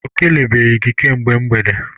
O kelebeghi gị kemgbe mgbede